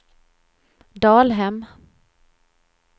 Dalhem